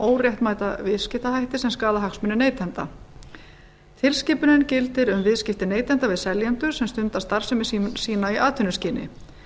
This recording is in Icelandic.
óréttmæta viðskiptahætti sem skaða hagsmuni neytenda tilskipunin gildir um viðskipti neytenda við seljendur sem stunda starfsemi sína í atvinnuskyni